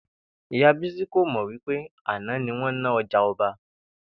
Ìyá Bísí kò mò̩ wí pé àná ni wó̩n ná o̩jà o̩ba